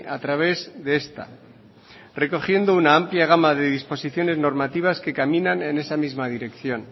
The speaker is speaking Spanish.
a través de esta recogiendo una amplia gama de disposiciones normativas que caminan en esa misma dirección